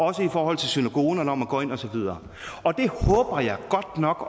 også i forhold til synagogen når man går ind og så videre og det håber jeg godt nok